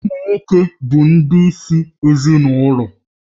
Ụmụ nwoke bụ ndị isi ezinụlọ